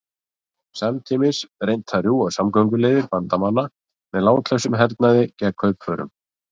Samtímis skyldi reynt að rjúfa samgönguleiðir Bandamanna með látlausum hernaði gegn kaupförum.